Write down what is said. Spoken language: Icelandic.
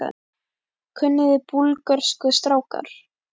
Kunniði Búlgörsku strákar?